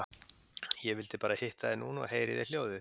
Ég vildi bara hitta þig núna og heyra í þér hljóðið.